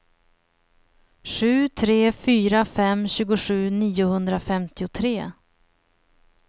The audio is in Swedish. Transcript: sju tre fyra fem tjugosju niohundrafemtiotre